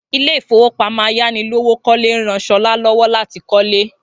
Ilé ìfowópamọ́ ayánilówókọ́lé ń rán Sola lọ́wọ́ láti kọ́lé